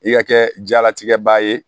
I ka kɛ jalatigɛ ba ye